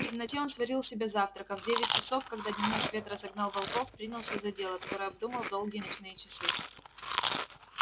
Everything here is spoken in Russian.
в темноте он сварил себе завтрак а в девять часов когда дневной свет разогнал волков принялся за дело которое обдумал в долгие ночные часы